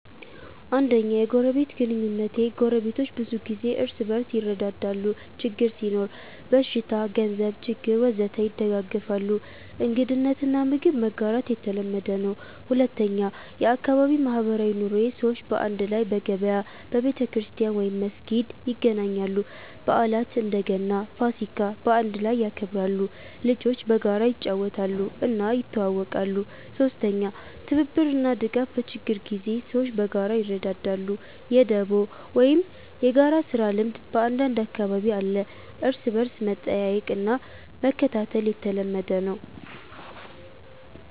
1. የጎረቤት ግንኙነቴ ጎረቤቶች ብዙ ጊዜ እርስ በርስ ይረዳዳሉ ችግር ሲኖር (በሽታ፣ ገንዘብ ችግር ወዘተ) ይደጋገፋሉ እንግድነት እና ምግብ መጋራት የተለመደ ነው 2. የአካባቢ ማህበራዊ ኑሮዬ ሰዎች በአንድ ላይ በገበያ፣ በቤተክርስቲያን/መስጊድ ይገናኛሉ በዓላት (እንደ ገና፣ ፋሲካ) በአንድ ላይ ይከበራሉ ልጆች በጋራ ይጫወታሉ እና ይተዋወቃሉ 3. ትብብር እና ድጋፍ በችግር ጊዜ ሰዎች በጋራ ይረዳዳሉ የ“ደቦ” ወይም የጋራ ስራ ልምድ በአንዳንድ አካባቢ አለ እርስ በርስ መጠየቅ እና መከታተል የተለመደ ነው